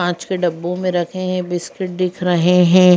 कांच के डब्बो में रखे हैं बिस्किट दिख रहे हैं।